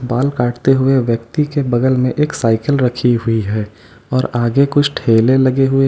बाल काटते हुए व्यक्ति के बगल में एक साइकिल रखी हुई है और आगे कुछ ठेले लगे हुए है।